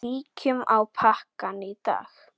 Kíkjum á pakkann í dag.